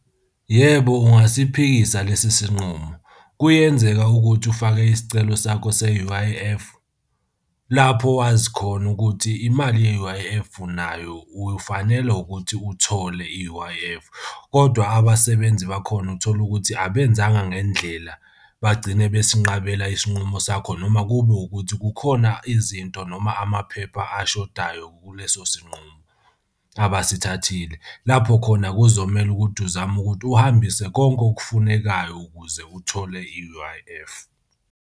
Yebo, ungasiphikisa lesi sinqumo. Kuyenzeka ukuthi ufake isicelo sakho se-U_I_F, lapho wazi khona ukuthi imali ye-U_I_F unayo, ufanelwe ukuthi uthole i-U_I_F, kodwa abasebenzi bakhona uthola ukuthi abenzanga ngendlela bagcine besinqabela isinqumo sakho noma kube ukuthi kukhona izinto noma amaphepha ashodayo kuleso sinqumo abasithathile. Lapho khona kuzomele ukuthi uzame ukuthi uhambise konke okufunekayo ukuze uthole i-U_I_F.